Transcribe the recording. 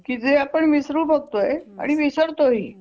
की जे आपण विसरू बघतोय आणि विसरतो ही